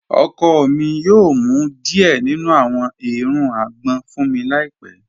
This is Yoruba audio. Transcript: Ọkọ mi yoo mú díẹ̀ nínu àwọn èèrùn àgbọn fun mi láípẹ̀